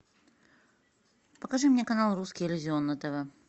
покажи мне канал русский иллюзион на тв